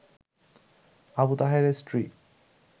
আবু তাহেরের স্ত্রী